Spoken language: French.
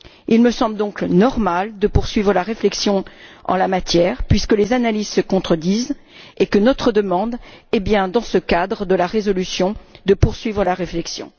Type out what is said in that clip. Il me semble donc normal de poursuivre la réflexion en la matière, puisque les analyses se contredisent et que notre demande est bien, dans ce cadre de la résolution, de poursuivre la réflexion.